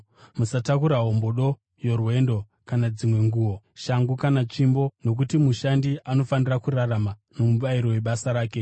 musatakura hombodo yorwendo kana dzimwe nguo, shangu kana tsvimbo nokuti mushandi anofanira kurarama nomubayiro webasa rake.